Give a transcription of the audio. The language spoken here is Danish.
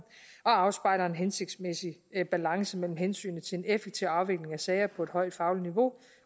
og afspejler en hensigtsmæssig balance mellem hensynet til en effektiv afvikling af sager på et højt fagligt niveau